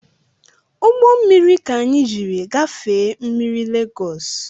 Ugbommiri ka anyị jiri gafee mmiri lagos